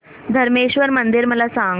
धरमेश्वर मंदिर मला सांग